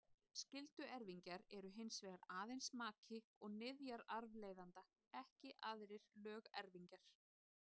Skylduerfingjar eru hins vegar aðeins maki og niðjar arfleifanda, ekki aðrir lögerfingjar.